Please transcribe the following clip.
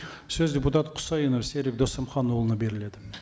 сөз депутат құсайынов серік досымханұлына беріледі